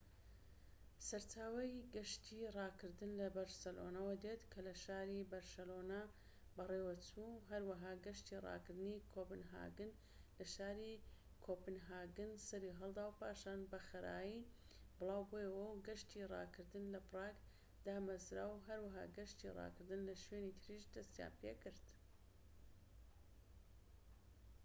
سەرچاوەی گەشتی ڕاکردن لە بەرسلۆنەوە دێت کە لە شاری بەرشلۆنە بەڕێوەچوو و هەروەها گەشتی ڕاکردنی کۆپنهاگن لە شاری کۆپنهاگن سەریهەڵدا و پاشان بەخءرایی بڵاوبوویەوە و گەشتی ڕاکردن لە پراگ دامەزراو و هەروەها گەشتی ڕاکردن لە شوێنی تریش دەستیان پێکرد